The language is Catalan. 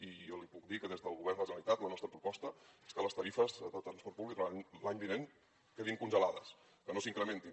i jo li puc dir que des del govern de la generalitat la nostra proposta és que les tarifes de transport públic durant l’any vinent quedin congelades que no s’incrementin